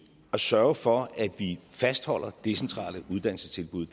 at sørge for at vi fastholder decentrale uddannelsestilbud